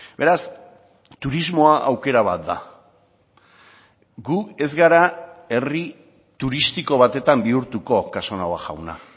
beraz turismoa aukera bat da gu ez gara herri turistiko batetan bihurtuko casanova jauna